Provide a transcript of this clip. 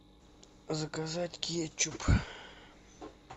заказать кетчуп